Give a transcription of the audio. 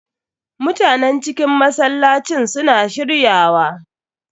Mutanen cikin masallacin su na shirya wa.